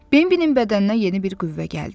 Bembənin bədəninə yeni bir qüvvə gəldi.